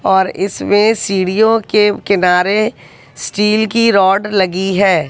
और इसमें सीढ़ियों के किनारे स्टील की रॉड लगी है।